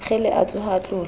kgele a tsoha a tlola